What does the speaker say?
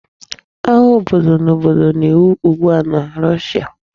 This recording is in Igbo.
Agha obodo na obodo na-ewu ugbua na Russia